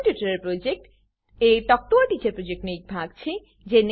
spoken tutorial project talk to a teacher પ્રોજેક્ટનો એક ભાગ છે